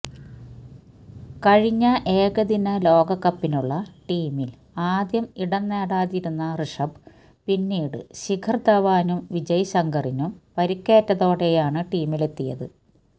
കഴിഞ്ഞ ഏകദിന ലോകകപ്പിനുള്ള ടീമിൽ ആദ്യം ഇടം നേടാതിരുന്ന ഋഷഭ് പിന്നീട് ശിഖർ ധവാനും വിജയ് ശങ്കറിനും പരിക്കേറ്റതോടെയാണ് ടീമിലെത്തിയത്